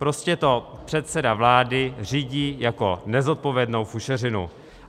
Prostě to předseda vlády řídí jako nezodpovědnou fušeřinu.